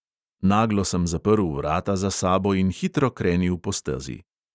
Naglo sem zaprl vrata za sabo in hitro krenil po stezi.